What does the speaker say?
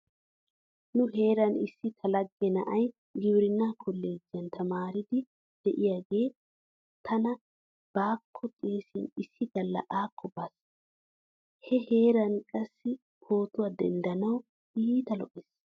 Nu heeran issi ta lagge na'ay gibirinnaa kolleejjiyan tamaariddi diyagee tana baakko xeesin issi galla akko baas. He heeray qassi pootuwa denddanawu iita lo'ees.